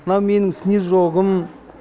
мынау менің снежогым